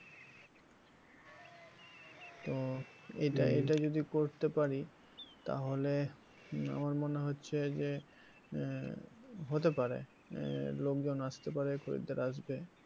তো এটা এটা যদি করতে পারি তাহলে আমার মনে হচ্ছে যে আহ হতে পারে আহ লোকজন আসতে পারে খদ্দের আসবে।